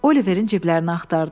Oliverin ciblərini axtardılar.